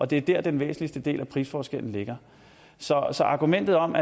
det er der den væsentligste del af prisforskellen ligger så argumentet om